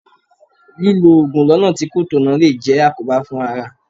Lílọ Ògùn lọ́nà tí kò tọ̀nà lè jẹ́ àkóbá fún ara.